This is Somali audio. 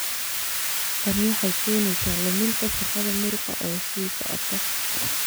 Tani waxay keenaysaa luminta shaqada muruqa oo sii socota.